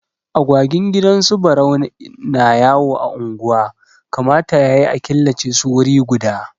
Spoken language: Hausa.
Agwagin gidan su Barau na yawo a unguwa, kamata ya yi a killace su wuri guda.